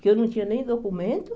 Que eu não tinha nem documento.